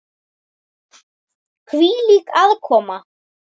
Hvílík aðkoma!